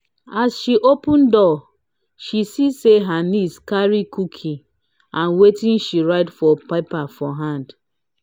as she open door she see say her niece carry cookie and watin she write for paper for hand.